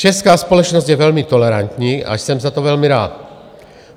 Česká společnost je velmi tolerantní a jsem za to velmi rád.